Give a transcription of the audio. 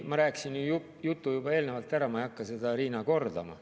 Ma rääkisin oma jutu juba ära, ma ei hakka seda, Riina, kordama.